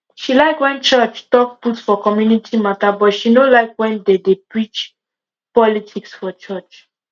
she like when church talk put for community matter but she no like when they de preach politics for church